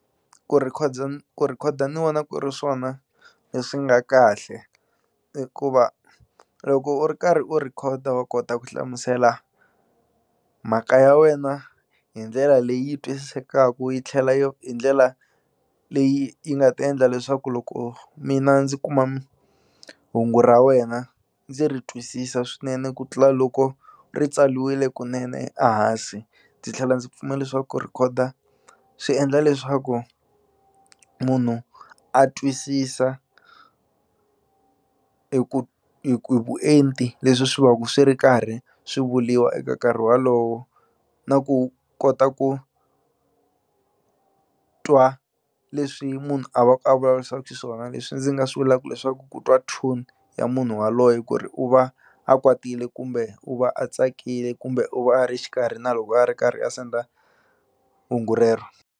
Ku ku rhekhoda ni vona ku ri swona leswi nga kahle hikuva loko u ri karhi u rhekhoda wa kota ku hlamusela mhaka ya wena hi ndlela leyi twisisekaku yi tlhela yo hi ndlela leyi yi nga ta endla leswaku loko mina ndzi kuma hungu ra wena ndzi ri twisisa swinene ku tlula loko ri tsaliwile kunene a hansi ndzi tlhela ndzi pfumela leswaku ku rhekhoda swi endla leswaku munhu a twisisa hi ku hi ku hi vuenti leswi swi va ku swi ri karhi swi vuliwa eka nkarhi walowo na ku kota ku twa leswi munhu a va ku a vulavurisaku xiswona leswi ndzi nga swi vulaku leswaku ku twa tone ya munhu waloye ku ri u va a kwatile kumbe u va a tsakile kumbe u va a ri xikarhi na loko a ri karhi a senda hungu rero.